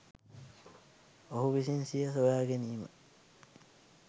ඔහු විසින් සිය සොයාගැනීම